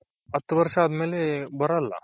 ಹತು ವರ್ಷ ಅದಮೇಲೆ ಬರಲ್ಲ .